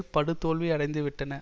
படு தோல்வியடைந்து விட்டன